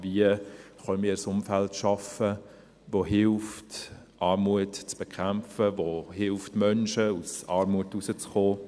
Wie können wir ein Umfeld schaffen, das hilft, Armut zu bekämpfen, das Menschen hilft, aus Armut herauszukommen?